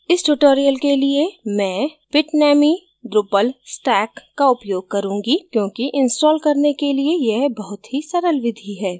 इस tutorial के लिए मैं bitnami drupal stack का उपयोग करुँगी क्योंकि इंस्टॉल करने के लिए यह बहुत ही सरल विधि है